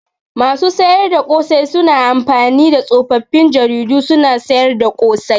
Masu sayar da ƙosai suna amfani da tsofaffin jaridu suna sayar da ƙosai.